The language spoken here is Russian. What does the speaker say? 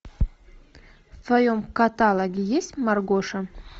в твоем каталоге есть маргоша